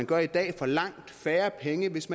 gør i dag for langt færre penge hvis